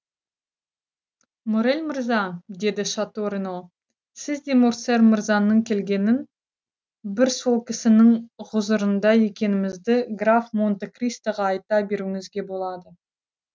моррель мырза деді шато рено сіз де морсер мырзаның келгенін бір сол кісінің хұзырында екенімізді граф монте кристоға айта беруіңізге болады